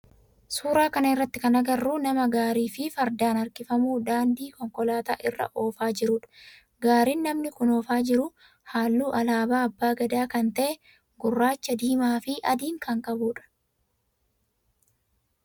Suuraa kana irratti kan agarru nama gaarii fardaan harkifamu daandii konkolaataa irra oofaa jirudha. Gaariin namni kun oofaa jiru halluu alaabaa abbaa Gadaa kan ta'e gurraacha, diimaa fi adii kan qabudha.